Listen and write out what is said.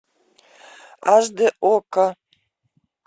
аш д окко